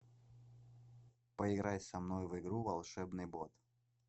поиграй со мной в игру волшебный бот